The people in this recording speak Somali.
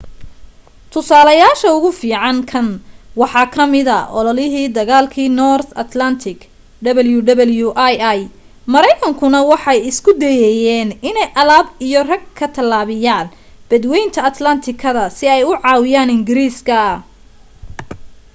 tusaalayaasha ugu fiican kan waxa ka mida ololihii dagaalka north atlantic wwii maraynkanku waxay isku dayayeen inay alaab iyo rag ka tallaabiyaan badwaynta atlaantiga si ay u caawiyaan ingiriiska